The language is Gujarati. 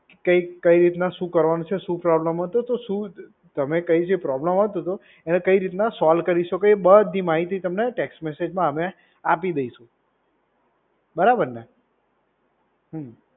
કે કઈ રીતના શું કરવાનું છે, શું પ્રોબ્લેમ હતો. તો શું તમને કઈ જે પ્રોબ્લેમ આવતો હતો, એને કઈ રીતના સોલ્વ કરી શકો. એ બધી માહિતી તમને ટેક્સ મેસેજમાં અમે આપી દઈશું. બરાબર ને? હમ્મ.